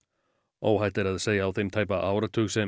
óhætt er að segja á þeim tæpa áratug sem